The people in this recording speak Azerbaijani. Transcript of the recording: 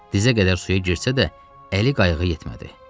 Dizə qədər suya girsə də əli qayıqa yetmədi.